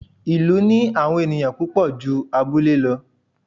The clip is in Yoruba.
ìlú ní àwọn ẹniyan púpò jú abúlé lọ